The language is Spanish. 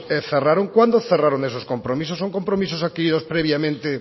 cerraron cuándo cerraron esos compromisos son compromisos adquiridos previamente